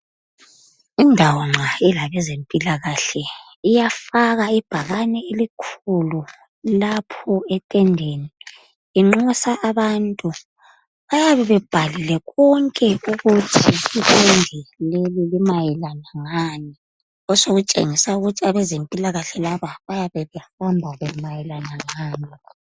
Indawo nxa ilabezempilakahle iyafaka ibhakane elikhulu lapho etendeni. Inxusa abantu. Bayabe bebhalile konke ukuthi itende leli limayelana ngani, osokutshengisa ukuthi abezempilakahle laba bayabe behamba mayelana ngani.